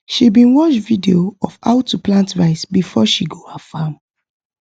she bin watch video of how to plant rice before she go her farm